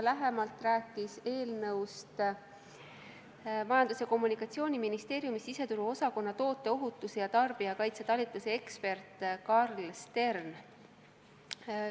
Lähemalt rääkis eelnõust Majandus- ja Kommunikatsiooniministeeriumi siseturuosakonna toote ohutuse ja tarbijakaitse talituse ekspert Karl Stern.